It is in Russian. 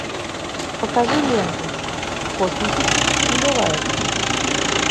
покажи ленту в космосе чувств не бывает